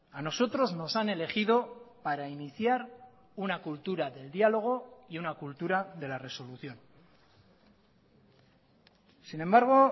a nosotros nos han elegido para iniciar una cultura del diálogo y una cultura de la resolución sin embargo